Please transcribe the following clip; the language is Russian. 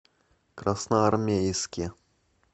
красноармейске